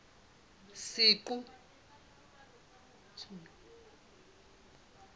senqu